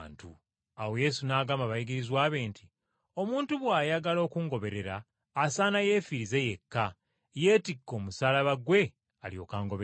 Awo Yesu n’agamba abayigirizwa be nti, “Omuntu bw’ayagala okungoberera asaana yeefiirize yekka, yeetikke omusaalaba gwe alyoke angoberere.